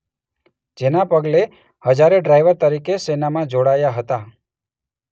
જેના પગલે હજારે ડ્રાઈવર તરીકે સેનામાં જોડાયા હતા.